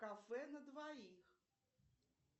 кафе на двоих